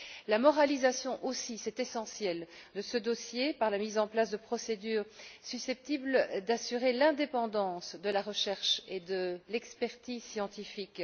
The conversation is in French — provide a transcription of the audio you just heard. La moralisation aussi c'est essentiel de ce dossier par la mise en place de procédures susceptibles d'assurer l'indépendance de la recherche et de l'expertise scientifiques.